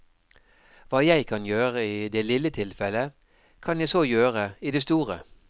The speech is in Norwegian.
Hva jeg kan gjøre i det lille tilfellet, kan jeg så gjøre i det store.